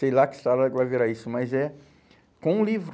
Sei lá que história que vai virar isso, mas é com o livro.